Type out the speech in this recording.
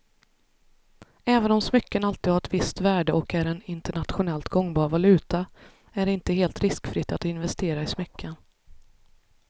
Även om smycken alltid har ett visst värde och är en internationellt gångbar valuta är det inte helt riskfritt att investera i smycken.